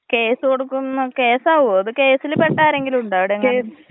Case കൊടുക്കുന്നൊക്കെ കേസാവോ അത് കേസില് പെട്ട ആരെങ്കിലുണ്ടോ അവിടെ.